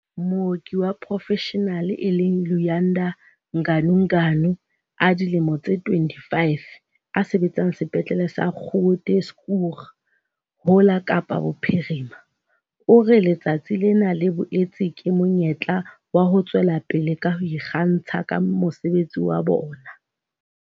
Mooki wa porofeshenale e leng Luyanda Ganuganu, a dilemo tse 25, a sebetsang Sepetleleng sa Groote Schuur ho la Kapa Bophirima, o re letsatsi lena le boetse ke monyetla wa ho tswela pele ka ho ikgantsha ka mosebetsi wa bona.